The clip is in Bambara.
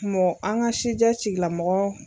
Kungɔ an ka sijɛ tigilamɔgɔ.